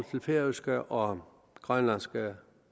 til færøske og grønlandske